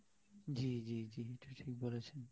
জ্বী জ্বী জ্বী এটা ঠিক বলেছেন